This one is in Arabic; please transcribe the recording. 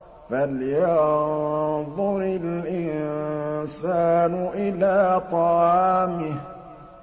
فَلْيَنظُرِ الْإِنسَانُ إِلَىٰ طَعَامِهِ